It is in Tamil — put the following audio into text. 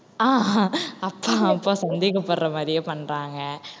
அப்பா அப்பா சந்தேகப்படுற மாதிரியே பண்றாங்க